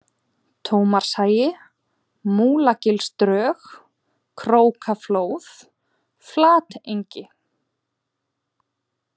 Tómasarhagi, Múlagilsdrög, Krókaflóð, Flatengi